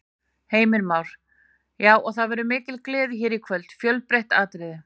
Heimir Már: Já, og það verður mikil gleði hér í kvöld, fjölbreytt atriði?